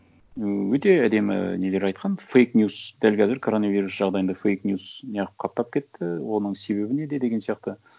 ыыы өте әдемі нелер айтқан фейк ньюс дәл қазір коронавирус жағдайында фейк ньюс не қылып қаптап кетті оның себебі неде деген сияқты